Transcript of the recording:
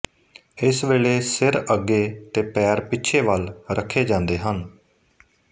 ਇਸ ਵੇਲੇ ਸਿਰ ਅੱਗੇ ਤੇ ਪੈਰ ਪਿੱਛੇ ਵੱਲ ਰੱਖੇ ਜਾਂਦੇ ਹਨ